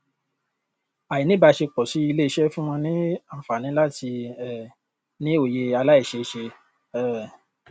àìní ìbáṣepọ sí ilé iṣẹ fún wọn lánfààní láti um ní òye àláìṣeé ṣe um